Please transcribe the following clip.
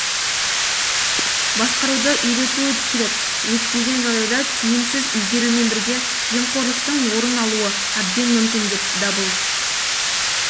басқаруды үйрету керек өйтпеген жағдайда тиімсіз игерумен бірге жемқорлықтың орын алуы әбден мүмкін деп дабыл